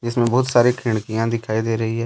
जिसमें बहुत सारी खिड़कियां दिखाई दे रही है।